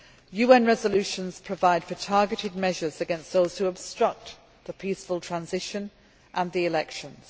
UN resolutions provide for targeted measures against those who obstruct the peaceful transition and the elections.